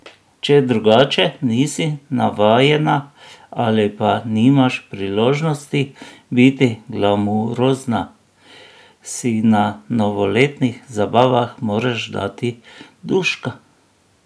Če drugače nisI navajena ali pa nimaš priložnosti biti glamurozna, si na novoletnih zabavah moraš dati duška!